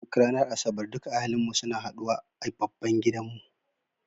Duk ranar asabar duka ahalin mu suna haɗu wa a babban gidan mu.